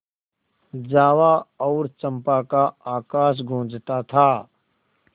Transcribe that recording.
जावा और चंपा का आकाश गँूजता था